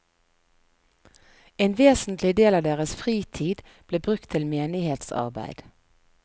En vesentlig del av deres fritid ble brukt til menighetsarbeid.